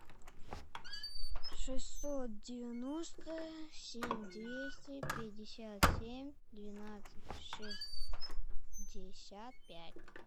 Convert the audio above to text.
шестьсот девяносто семь двести пятьдесят семь двенадцать шестьдесят пять